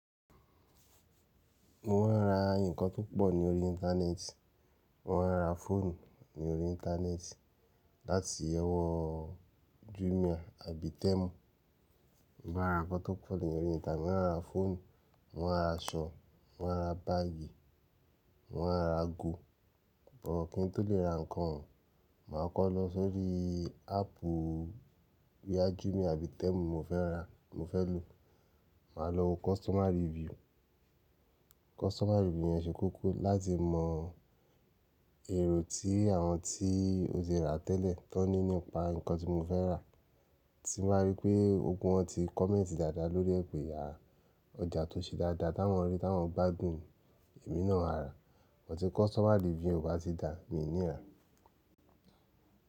Mo máa ń ra nǹkan tó pọ̀ ní orí internet. Mo máa ń ra fóònù ní orí internet láti owo Jumia àbí Temu. Mo máa ń ra nǹkan tó pọ̀ ní orí internet, mo máa ń ra fóònù, mo máa ń ra aṣọ, mo máa ń ra báàgì, mo máa ń ra ago. But kí n tó le ra nǹkan, màá kọ́ lọ sórí áápù boyà Jumia àbí Temu mo fẹ́ ra, mo fẹ́ lò. Màá lọ wo customer review. Customer review yẹn ṣe kókó láti mọ èrò tí àwọn tí ó ti rà tẹ́lẹ̀ kó ní nípa nǹkan tí mo fẹ́ rà. Ti mo bá rí pé ogún wọn ti comment dáadáa lórí ẹ̀ pẹ̀ à, ọjà tó ṣe dáadáa, táwọn rí, táwọn gbádùn, èmí náà màá rà. Sugbon tí customer review e o bá ti dà, mi ò ní rà.